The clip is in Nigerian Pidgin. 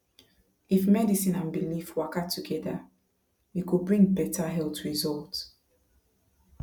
if medicine and belief waka together e go bring better health result